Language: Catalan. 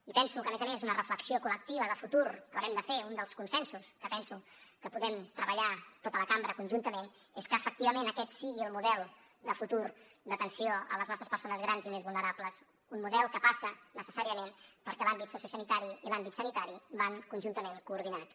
i penso que a més a més una reflexió col·lectiva de futur que haurem de fer un dels consensos que penso que podem treballar tota la cambra conjuntament és que efectivament aquest sigui el model de futur d’atenció a les nostres persones grans i més vulnerables un model que passa necessàriament perquè l’àmbit sociosanitari i l’àmbit sanitari van conjuntament coordinats